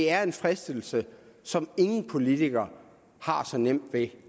er en fristelse som ingen politikere har så nemt ved